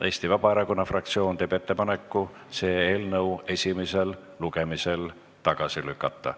Eesti Vabaerakonna fraktsioon teeb ettepaneku see eelnõu esimesel lugemisel tagasi lükata.